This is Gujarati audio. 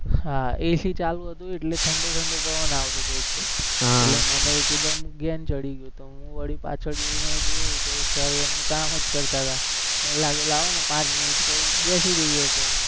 હા AC ચાલુ હતી એટલે ઠંડો-ઠંડો પવન આવતો હતો એક તો એટલે મને કીધું એમ ઘેન ચડી ગયું તું, હું વળી પાછળ જઈને જોવ તો sir એનું કામ જ કરતા હતા મને લાગુ લાવો ને પાંચ મિનિટ ક્વ બેસી જઈએ ક્વ